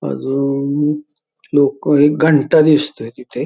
अजून लोक एक घंटा दिसतोय तिथे.